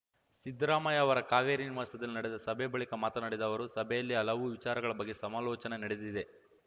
ಸಿದ್ದರಾಮಯ್ಯ ಅವರ ಕಾವೇರಿ ನಿವಾಸದಲ್ಲಿ ನಡೆದ ಸಭೆ ಬಳಿಕ ಮಾತನಾಡಿದ ಅವರು ಸಭೆಯಲ್ಲಿ ಹಲವು ವಿಚಾರಗಳ ಬಗ್ಗೆ ಸಮಾಲೋಚನೆ ನಡೆದಿದೆ